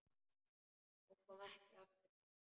Hún kom ekki aftur heim.